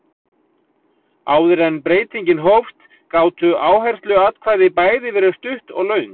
Áður en breytingin hófst gátu áhersluatkvæði bæði verið stutt og löng.